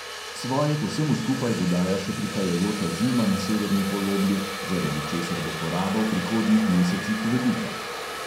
Svoje k vsemu skupaj dodaja še prihajajoča zima na severni polobli, zaradi česar bo poraba v prihodnjih mesecih velika.